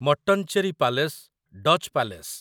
Mattancherry palace Dutch palace